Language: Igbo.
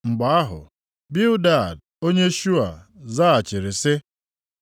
Mgbe ahụ, Bildad onye Shua zaghachiri sị: